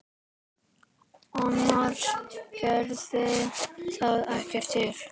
Annars gerði það ekkert til.